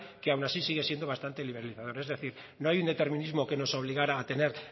que aun así sigue siendo bastante liberalizador es decir no hay un determinismo que nos obligara a tener